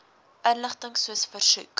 inligting soos versoek